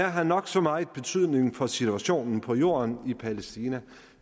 har nok så meget betydning for situationen på jorden i palæstina